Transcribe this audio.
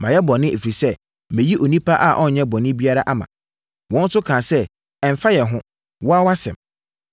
“Mayɛ bɔne, ɛfiri sɛ, mayi onipa a ɔnyɛɛ bɔne biara ama.” Wɔn nso kaa sɛ, “Ɛmfa yɛn ho. Wo ara wʼasɛm.”